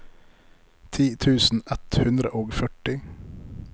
ti tusen ett hundre og førti